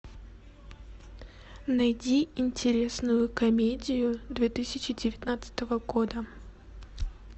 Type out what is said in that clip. найди интересную комедию две тысячи девятнадцатого года